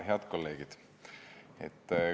Head kolleegid!